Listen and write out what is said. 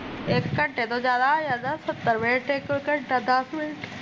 ਇੱਕ ਘੰਟੇ ਤੋਂ ਜਿਆਦਾ ਜਾਂ ਤਾਂ ਸੱਤਰ ਮਿੰਟ ਇੱਕ ਘੰਟਾ ਦੱਸ ਮਿੰਟ